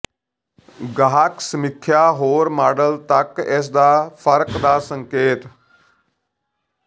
ਗਾਹਕ ਸਮੀਖਿਆ ਹੋਰ ਮਾਡਲ ਤੱਕ ਇਸ ਦਾ ਫਰਕ ਦਾ ਸੰਕੇਤ